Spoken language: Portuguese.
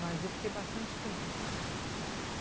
Mas eu fiquei bastante tempo.